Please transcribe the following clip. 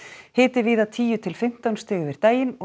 hiti víða tíu til fimmtán stig yfir daginn